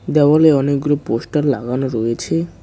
দেওয়ালে অনেকগুলো পোস্টার লাগানো রয়েছে।